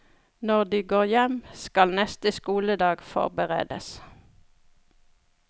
Når de går hjem, skal neste skoledag forberedes.